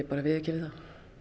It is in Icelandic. bara að viðurkenna það